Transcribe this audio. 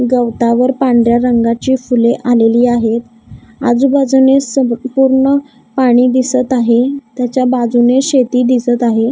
गवतावर पांढऱ्या रंगाची फुले आलेली आहेत आजूबाजूने सब पूर्ण पाणी दिसत आहे त्याच्या बाजूने शेती दिसत आहे.